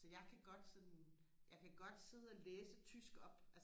så jeg kan godt sådan jeg kan godt sidde og læse tysk op